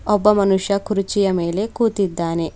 ಒಬ್ಬ ಮನುಷ್ಯ ಕುರ್ಚಿಯ ಮೇಲೆ ಕೂತಿದ್ದಾನೆ.